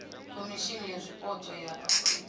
khomishimi ya zwipotso ya afurika